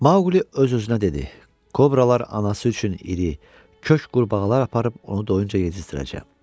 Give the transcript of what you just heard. Maqli öz-özünə dedi: Kobralar anası üçün iri, kök qurbağalar aparıb onu doyuncaca yezdirəcəm.